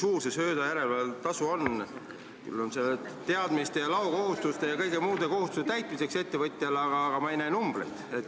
Küll on see ettevõtjale teatamis- ja loakohustuste ja kõigi muude kohustuste täitmiseks, aga ma ei näe numbreid.